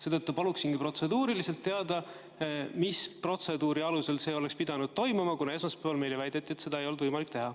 Seetõttu paluksingi teada anda, mis protseduuri alusel see oleks pidanud toimuma, kuna esmaspäeval meile väideti, et seda ei olnud võimalik teha.